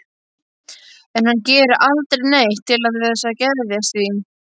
En hann gerir aldrei neitt til þess að geðjast því.